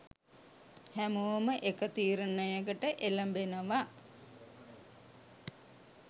හැමෝම එක තීරණයකට එළඹෙනව.